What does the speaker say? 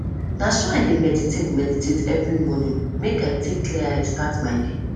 na so i dey meditate meditate every morning make i take clear eye start my day